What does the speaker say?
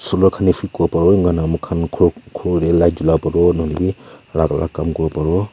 ama khan esib kora pabu aru ama khan khor khor teh light jola pabu alag alag kaam kora bu.